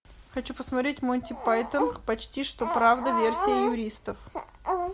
хочу посмотреть монти пайтон почти что правда версия юристов